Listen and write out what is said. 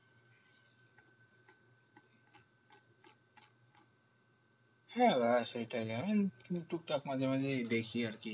হ্যাঁ আহ সেটাই জানেন টুকটাক মাঝে মাঝে দেখি আর কি